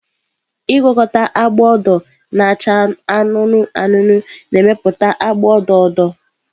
Ịgwakọta agba odo na acha anụnụ anụnụ na-emepụta agba odo odo.